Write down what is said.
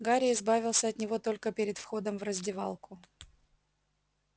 гарри избавился от него только перед входом в раздевалку